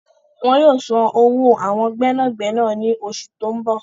Wọn yóò san owó awọn gbẹ́nàgbẹ́nà ní oṣù tó ń bọ̀